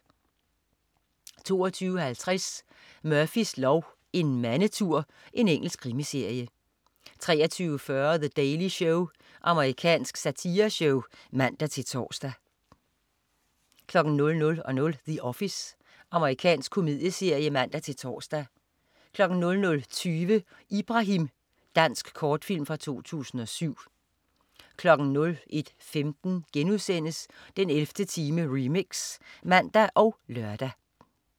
22.50 Murphys lov: En mandetur. Engelsk krimiserie 23.40 The Daily Show. Amerikansk satireshow (man-tors) 00.00 The Office. Amerikansk komedieserie (man-tors) 00.20 Ibrahim. Dansk kortfilm fra 2007 01.15 den 11. time remix* (man og lør)